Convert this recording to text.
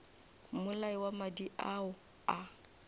mmolai wa madi ao a